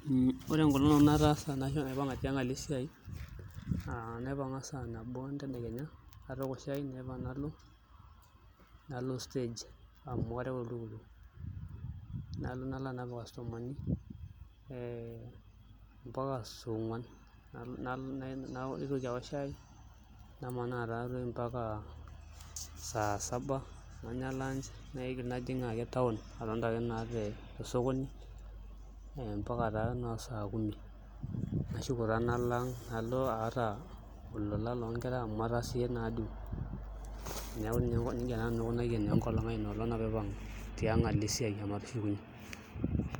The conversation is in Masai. Ore enkolong' nanu nataasa ashu naipang'a alo esiai aa naipang'a saa nabo enkakenya atooko shai naipang nalo stage areu oltukutuk nalo nalo anap ircustomani ee mpaka saa onguan naitoki aaok shai namanaa taatoi mpaka saa saba nanya [cslunch najing ake taon agira ake amanaa tosokoni etaa noo saa kumi nashuko taa alo ang' nalo aata olola loonkera amu ataasishe naaduo neeku nijia aikunaa naa enkolong' aai.